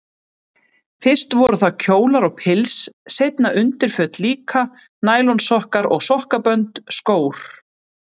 Fyrst voru það kjólar og pils, seinna undirföt líka, nælonsokkar og sokkabönd, skór.